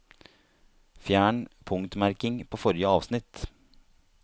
Fjern punktmerking på forrige avsnitt